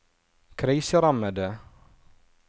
kriserammede